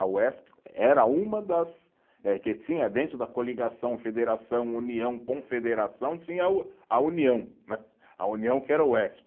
A Uesp era uma das, eh que tinha dentro da coligação, federação, união, confederação, tinha o, a união né, a união que era a Uesp.